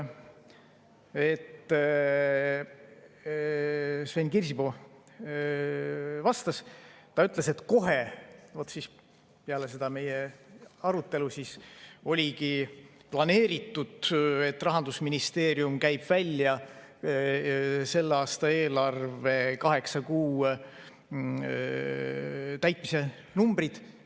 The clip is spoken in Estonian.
Sven Kirsipuu ütles, et oligi planeeritud, et kohe peale seda meie arutelu Rahandusministeerium käib välja selle aasta eelarve kaheksa kuu täitmise numbrid.